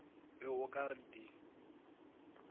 be o ka re di